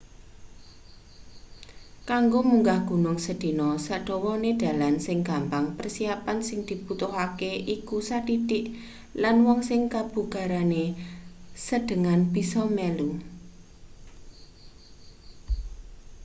kanggo munggah gunung sedina sadawane dalan sing gampang persiapan sing dibutuhake iku sathithik lan wong sing kabugarane sedhengan bisa melu